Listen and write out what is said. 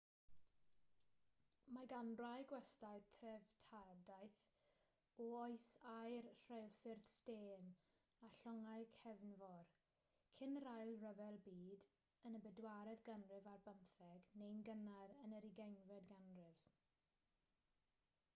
mae gan rai gwestyau dreftadaeth o oes aur rheilffyrdd stêm a llongau cefnfor cyn yr ail ryfel byd yn y bedwaredd ganrif ar bymtheg neu'n gynnar yn yr ugeinfed ganrif